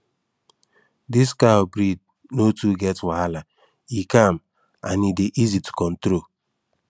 this cow breed no too get wahala e calm and e dey easy to control